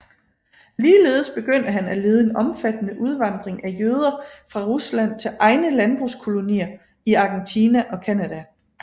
Ligeledes begyndte han at lede en omfattende udvandring af jøder fra Rusland til egne landbrugskolonier i Argentina og Canada